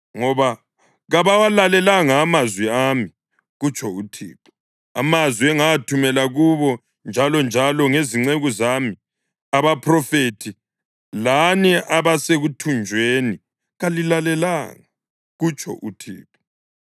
Ngoba kabawalalelanga amazwi ami,” kutsho uThixo, “amazwi engawathumela kubo njalonjalo ngezinceku zami abaphrofethi. Lani abasekuthunjweni kalilalelanga,” kutsho uThixo.